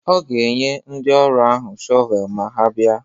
Ọ ga-enye ndị ọrụ ahụ shọvel ma ha bịa.